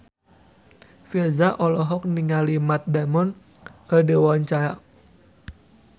Virzha olohok ningali Matt Damon keur diwawancara